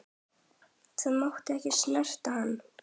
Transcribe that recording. Það mátti ekki snerta hann.